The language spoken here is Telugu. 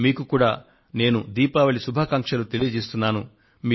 మీకు కూడా నేను ఆనందదాయక దీపావళి శుభాకాంక్షలను అందజేయాలనుకొంటున్నాను